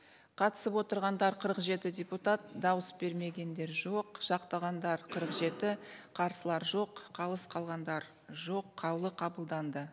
қатысып отырғандар қырық жеті депутат дауыс бермегендер жоқ жақтағандар қырық жеті қарсылар жоқ қалыс қалғандар жоқ қаулы қабылданды